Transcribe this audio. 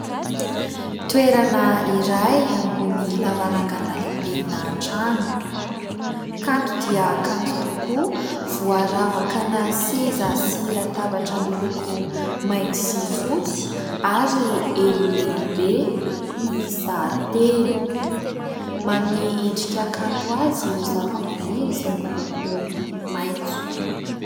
Toerana iray ambony lavarangana lehibe ana trano : kanto dia kanto tokoa, voaravaka ana seza sy latabatra miloko mainty sy fotsy ary elo lehibe miisa telo. Manome endrika kanto azy ireo zavamaniry izay miloko maitso.